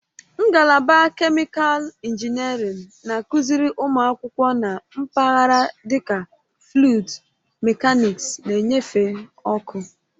Ngalaba kemịkalụ injiniarin na-akụziri ụmụ akwụkwọ na mpaghara dịka fluịd mekaniksi na nnyefe ọkụ.